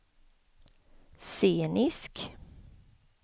scenisk